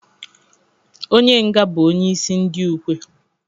Onye nga bụ onye isi ndị ukwe.